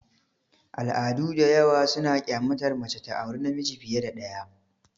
Al'adu da yawa suna kyamatar mace ta aure namiji fiye da ɗaya.